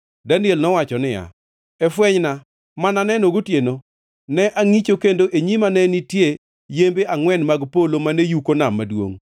Daniel nowacho niya, “E fwenyna ma naneno gotieno, ne angʼicho, kendo e nyima ne nitie yembe angʼwen mag polo mane yuko nam maduongʼ.